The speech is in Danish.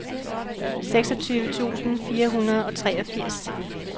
seksogtyve tusind fire hundrede og treogfirs